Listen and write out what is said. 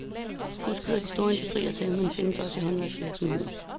Fusk hører de store industrier til, men findes også i håndværksvirksomheder.